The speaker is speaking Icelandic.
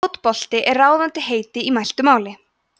fótbolti er ráðandi heiti í mæltu máli